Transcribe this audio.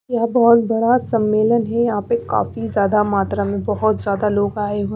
यह बहुत बड़ा सम्मेलन है यहां पे काफी ज्यादा मात्रा में बहुत ज्यादा लोग आए हुए--